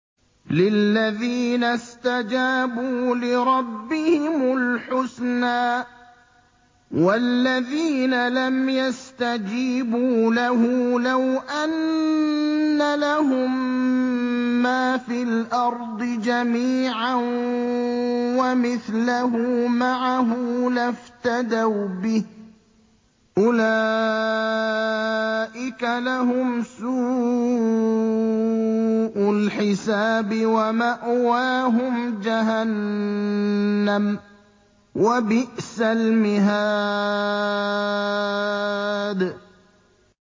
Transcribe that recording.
لِلَّذِينَ اسْتَجَابُوا لِرَبِّهِمُ الْحُسْنَىٰ ۚ وَالَّذِينَ لَمْ يَسْتَجِيبُوا لَهُ لَوْ أَنَّ لَهُم مَّا فِي الْأَرْضِ جَمِيعًا وَمِثْلَهُ مَعَهُ لَافْتَدَوْا بِهِ ۚ أُولَٰئِكَ لَهُمْ سُوءُ الْحِسَابِ وَمَأْوَاهُمْ جَهَنَّمُ ۖ وَبِئْسَ الْمِهَادُ